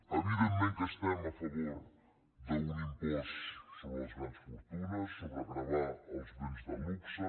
evidentment que estem a favor d’un impost sobre les grans fortunes sobre gravar els béns de luxe